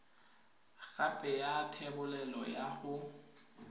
gape ya thebolelo ya go